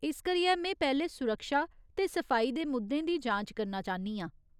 इस करियै, में पैह्‌लें सुरक्षा ते सफाई दे मुद्दें दी जांच करना चाह्न्नी आं।